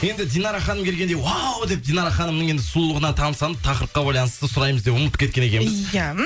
енді динара ханым келгенде уау деп динара ханымның енді сұлулығына тамсанып тақырыпқа байланысты сұраймыз деп ұмытып кеткен екенбіз иә